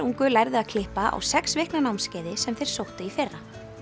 ungu lærðu að klippa á sex vikna námskeiði sem þeir sóttu í fyrra